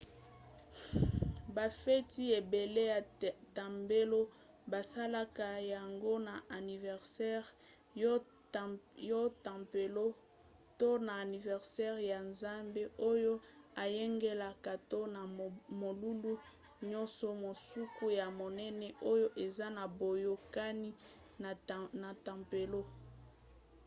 bafeti ebele ya tempelo basalaka yango na aniversere ya tempelo to na aniversere ya nzambe oyo ayangelaka to na molulu nyonso mosusu ya monene oyo eza na boyokani na tempelo